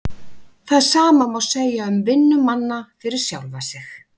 Það sama má segja um vinnu manna fyrir sjálfa sig.